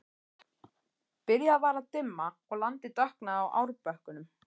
Byrjað var að dimma og landið dökknaði á árbökkunum.